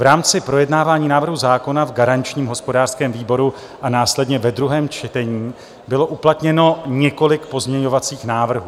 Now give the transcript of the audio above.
V rámci projednávání návrhu zákona v garančním hospodářském výboru a následně ve druhém čtení bylo uplatněno několik pozměňovacích návrhů.